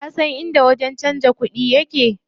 Kasan inda wajen canza kuɗi yake?